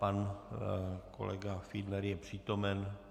Pan kolega Fiedler je přítomen.